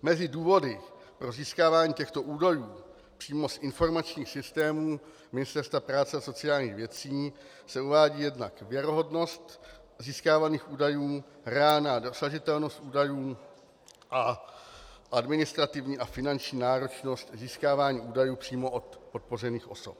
Mezi důvody pro získávání těchto údajů přímo z informačních systémů Ministerstva práce a sociálních věcí se uvádí jednak věrohodnost získávaných údajů, reálná dosažitelnost údajů a administrativní a finanční náročnost získávání údajů přímo od podpořených osob.